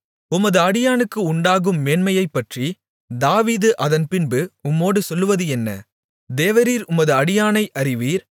உமது அடியானுக்கு உண்டாகும் மேன்மையைப்பற்றி தாவீது அதன்பின்பு உம்மோடு சொல்வது என்ன தேவரீர் உமது அடியானை அறிவீர்